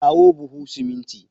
Kawo buhu siminti.